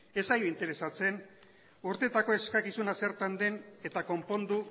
ez zaio interesatzen urteetako eskakizuna zertan den eta konpondu